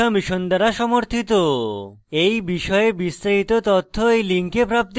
এই বিষয়ে বিস্তারিত তথ্য এই link প্রাপ্তিসাধ্য